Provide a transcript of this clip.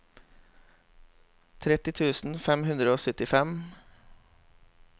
tretti tusen fem hundre og syttifem